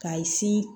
K'a